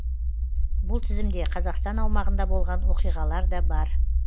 бұл тізімде қазақстан аумағында болған оқиғалар да бар